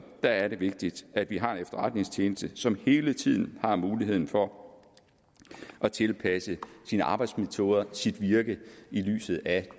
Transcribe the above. vigtigt at vi har en efterretningstjeneste som hele tiden har muligheden for at tilpasse sine arbejdsmetoder sit virke i lyset af